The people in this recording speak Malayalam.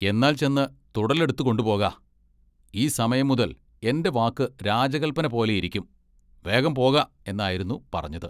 എന്നാൽ ചെന്ന് തുടലെടുത്തുകൊണ്ടുപോക. ഈ സമയം മുതൽ എന്റെ വാക്ക് രാജകല്പനപോലെയിരിക്കും വേഗം പോക എന്നായിരുന്നു പറഞ്ഞത്.